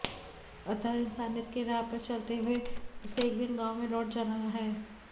अतः इनसानियत के राह पर चलते हुए उसे एक दिन गांव में लौट जाना है